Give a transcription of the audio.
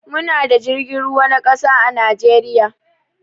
Mu na da jirgin ruwa na ƙasa a najeriya